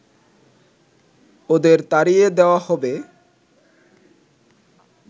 ওদের তাড়িয়ে দেওয়া হবে